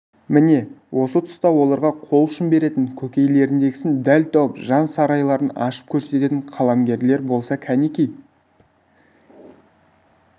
міне осы тұста оларға қол ұшын беретін көкейлеріндегісін дәл тауып жан сарайларын ашып көрсететін қаламгерлер болса кәнеки